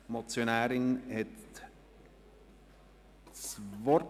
Die Motionärin hat das Wort.